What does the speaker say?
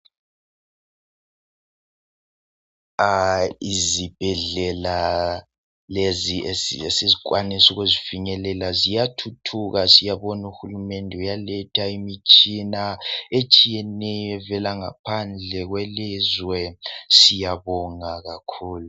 izibhedlela lezi esikwanisa ukuzifinyelela ziyathuthuka siyabona uhulumende uyaletha imitshina etshiyeneyo evela ngaphandle kwelizwe siyabonga kakhulu